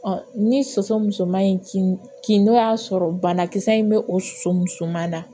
ni soso musoman in kin kin n'o y'a sɔrɔ banakisɛ in bɛ o soso musoman na